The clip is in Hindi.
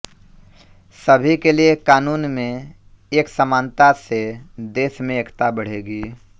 सभी के लिए कानून में एक समानता से देश में एकता बढ़ेगी